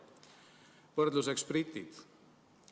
Võrdluseks britid.